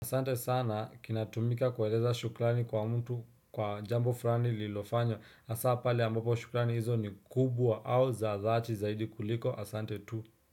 Asante sana kinatumika kueleza shukrani kwa mtu kwa jambo fulani lilofanywa hasa pale ambapo shukrani hizo ni kubwa au za dhati zaidi kuliko asante tu.